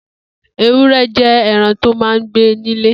Éwùrẹ̀ jẹ̀ ẹran tó mà n gbé nilé